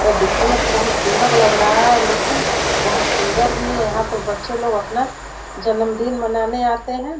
ये देखने में तो बहुत सुंदर लगा रहा है लेकिन बहुत सुंदर भी है यहाँ पर बच्चे लोग आपना जन्मदिन मनाने आते हैं।